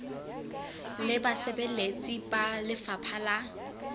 le basebeletsi ba lefapha la